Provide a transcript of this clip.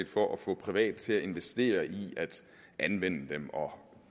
for at få private til at investere i at anvende dem og